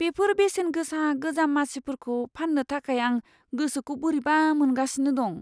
बेफोर बेसेनगोसा गोजाम मासिफोरखौ फान्नो थाखाय आं गोसोखौ बोरैबा मोनगासिनो दं।